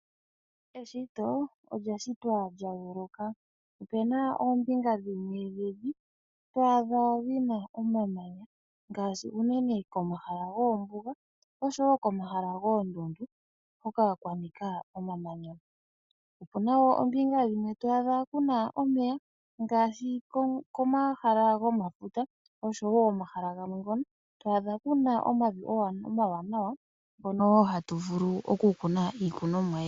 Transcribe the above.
Eshito olya shitwa lya yooloka, opena oombinga dhimwe dhevi twaadha dhina omamanya, ngashi uunene komahala goombuga osho wo komahala goondundu, hoka kwa nika omamanya, opuna wo kombinga yimwe toyi adha kuna omeya ngashi komahala gomafute osho wo omahala ngoka to adha omavi omawanawa, hoka hatu vulu oku kuna iimeno.